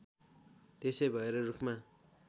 त्यसै भएर रूखमा